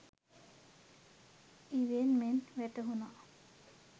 ඉවෙන් මෙන් වැටහුනා.